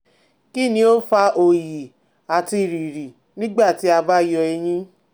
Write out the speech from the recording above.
Kini o fa oyi ati riri nigbati a ba yọ eyin?